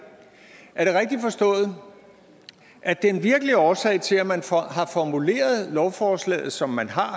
forstået at den virkelige årsag til at man har formuleret lovforslaget som man har